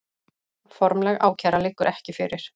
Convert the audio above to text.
Formleg ákæra liggur ekki fyrir